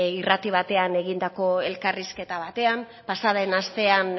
irrati batean egindako elkarrizketa batean pasaden astean